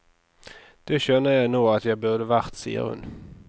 Det skjønner jeg nå at jeg burde vært, sier hun.